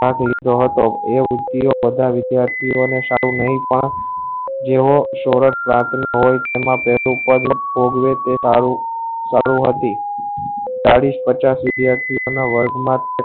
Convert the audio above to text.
આ વિગરો હતો એ વિધ્યાર્તીયો એ સારું નહી પણ જેવો સોરહ પાસે હોય એમા બેઠું પગ ને પોગ એ સારું સારું હતી ચાલીસ પચાસ વિદ્યાર્થિયો ના વર્ગ માં